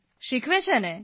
શીખવે છે ને